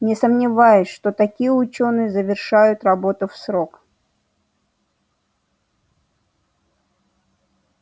не сомневаюсь что такие учёные завершают работу в срок